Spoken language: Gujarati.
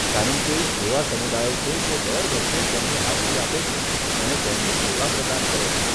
કારણ કે એવા સમુદાયો છે જે દર વર્ષે તેમની હાજરી આપે છે અને તેમની સેવા પ્રદાન કરે છે.